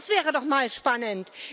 Das wäre doch mal spannend.